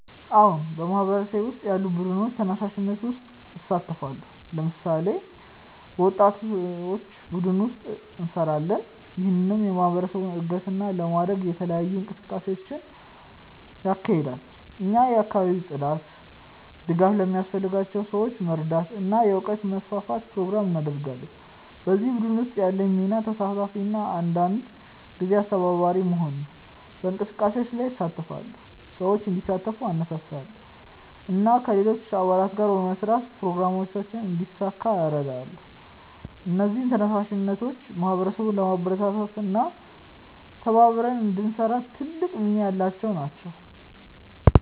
አዎን፣ በማህበረሰቤ ውስጥ ያሉ ቡድኖችና ተነሳሽነቶች ውስጥ እሳተፋለሁ። ለምሳሌ፣ በወጣቶች ቡድን ውስጥ እንሰራለን፣ ይህም የማህበረሰብ እድገትን ለመደገፍ የተለያዩ እንቅስቃሴዎችን ያካሂዳል። እኛ የአካባቢ ጽዳት፣ ድጋፍ ለሚያስፈልጋቸው ሰዎች መርዳት እና የእውቀት ማስፋፋት ፕሮግራሞችን እናደርጋለን። በዚህ ቡድን ውስጥ ያለኝ ሚና ተሳታፊ እና አንዳንድ ጊዜ አስተባባሪ መሆን ነው። በእንቅስቃሴዎች ላይ እሳተፋለሁ፣ ሰዎችን እንዲሳተፉ እነሳሳለሁ እና ከሌሎች አባላት ጋር በመስራት ፕሮግራሞችን እንዲሳካ እረዳለሁ። እነዚህ ተነሳሽነቶች ማህበረሰቡን ለማበረታታት እና ተባብረን እንድንሰራ ትልቅ ሚና ያላቸው ናቸው።